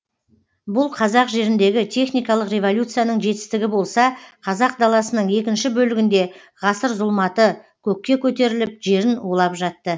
бұл қазақ жеріндегі техникалық революцияның жетістігі болса қазақ даласының екінші бөлігінде ғасыр зұлматы көкке көтеріліп жерін улап жатты